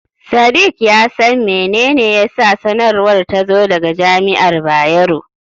Sadik ya san mene ne yasa sanarwar ta zo daga Jami'ar Bayero.